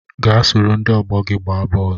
Gaa soro ndị ọgbọ gị gbaa bọọlụ